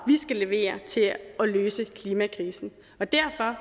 skal levere til at løse klimakrisen og derfor